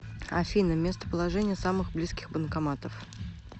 афина местоположение самых близких банкоматов